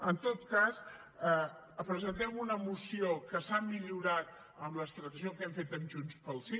en tot cas presentem una moció que s’ha millorat amb la transacció que hem fet amb junts pel sí